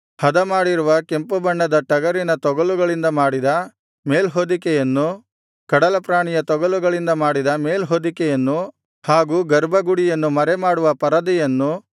ಹದಮಾಡಿರುವ ಕೆಂಪುಬಣ್ಣದ ಟಗರಿನ ತೊಗಲುಗಳಿಂದ ಮಾಡಿದ ಮೇಲ್ಹೊದಿಕೆಯನ್ನು ಕಡಲಪ್ರಾಣಿಯ ತೊಗಲುಗಳಿಂದ ಮಾಡಿದ ಮೇಲ್ಹೊದಿಕೆಯನ್ನು ಹಾಗೂ ಗರ್ಭಗುಡಿಯನ್ನು ಮರೆಮಾಡುವ ಪರದೆಯನ್ನು